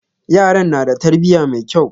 Yaran na da tarbiya mai kyau.